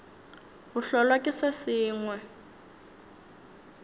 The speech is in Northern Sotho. bo hlolwa ke se sengwe